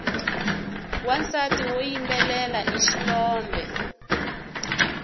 wansati woyimbelela i xilombe